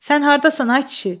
Sən hardasan ay kişi?